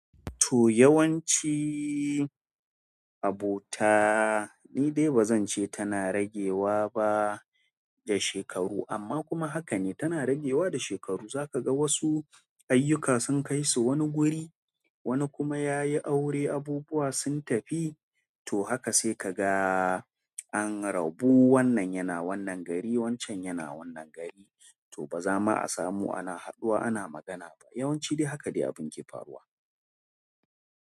To yawanci abota ni dai ba zan ce tana ragewa ba da shekaru amma kuma haka ne tana ragewa da shekaru. Za ka ga wasu ayyuka sun kai su wani guri, wani kuma yayi aure abubuwa sun tafi. To haka sai ka ga an rabu wannan yana wannan gari, wancan yana wannan gari. To ba za ma a samu ana haɗuwa ana magana ba. Yawanci dai haka dai abin ke faruwa.